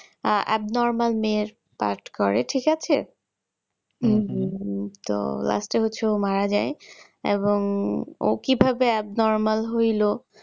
আহ abnormal মেয়ের part করে ঠিক আছে হম হম হম তো last এ হচ্ছে ও মারা যাই এবং ও কিভাবে abnormal হইলো